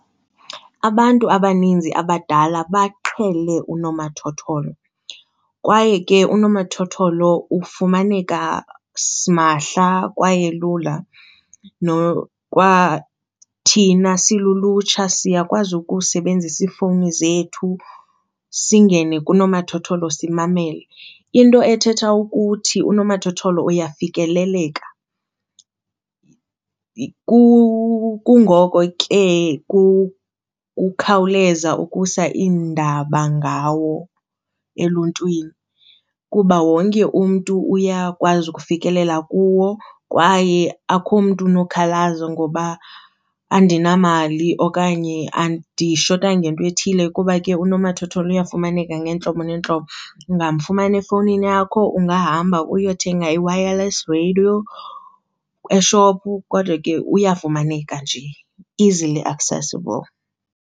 Abantu abaninzi abadala baqhele unomathotholo kwaye ke unomathotholo ufumaneka simahla kwaye lula. Kwathina silulutsha siyakwazi ukusebenzisa iifowuni zethu singene kunomathotholo simamele, into ethetha ukuthi unomathotholo uyafikeleleka. Kungoko ke kukhawuleza ukusa iindaba ngawo eluntwini kuba wonke umntu uyakwazi ukufikelela kuwo kwaye akukho mntu unokhalaza ngoba andinamali okanye andidishwa ngento ethile kuba ke unomathotholo uyafumaneka ngeentlobo ngeentlobo. Ungamfumana efowunini yakho ungahamba uyothenga i-wireless radio eshophu kodwa ke uyafumaneka nje, easily accessible.